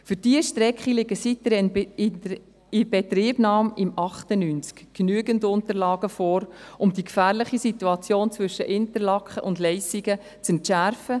Für diese Strecke liegen seit der Inbetriebnahme im Jahr 1998 genügend Unterlagen vor, um die gefährliche Situation zwischen Interlaken und Leissigen zu entschärfen.